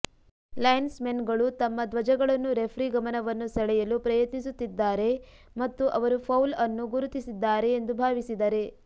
lines ಮೆನ್ಗಳು ತಮ್ಮ ಧ್ವಜಗಳನ್ನು ರೆಫ್ರಿ ಗಮನವನ್ನು ಸೆಳೆಯಲು ಪ್ರಯತ್ನಿಸುತ್ತಿದ್ದಾರೆ ಮತ್ತು ಅವರು ಫೌಲ್ ಅನ್ನು ಗುರುತಿಸಿದ್ದಾರೆ ಎಂದು ಭಾವಿಸಿದರೆ